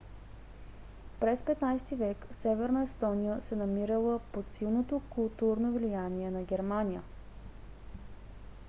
през 15-ти век северна естония се намирала под силното културно влияние на германия